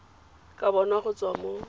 ka bonwa go tswa mo